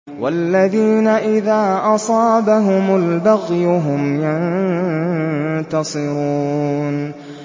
وَالَّذِينَ إِذَا أَصَابَهُمُ الْبَغْيُ هُمْ يَنتَصِرُونَ